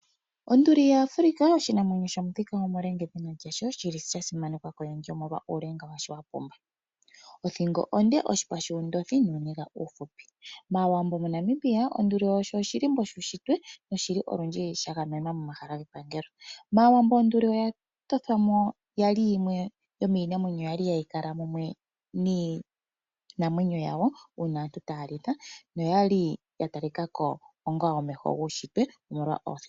Onduli ya Africa Oshinamwenyo sho muthika omule onga edhina lyasho shili sha simanekwa koyendji omolwa uulenga washo wapumba. Othingo onde ,oshipa shuundothi nuuniga uuhupi . Maawambo mo Namibia Onduli osho oshilimbo shuushitwe noshili olundji sha gamenwa momahala ge pangelo . Maawambo onduli oya tothwamo ya li yimwe yomiinamwenyo yali ha yi kala mumwe niinamwenyo yawo uuna aantu ta ya litha noyali ya talikako onga omeho guushitwe omolwa othingo yayo.